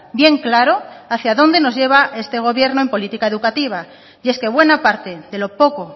bien claro hacia dónde nos lleva este gobierno en política educativa y es que buena parte de lo poco